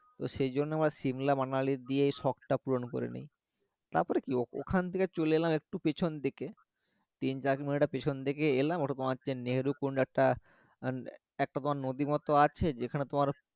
তো সেই জন্য শিহ্মা মঙ্গালি দিয়ে শখটা পূরণ করে নেই তারপরে কি ওখান থেকে চলে এলাম একটু পেছন দিকে পেছন থেকে এলাম ওরকম আছে নেহেরু কুন্ডারটা অ্যাঁ একটা পর নদী মতো আছে যেখানে তোমার